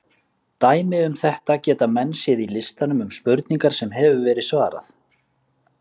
Dæmi um þetta geta menn séð í listanum um spurningar sem hefur verið svarað.